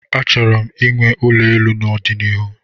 Achọrọ m inwe ulo elu n'ọdịnihu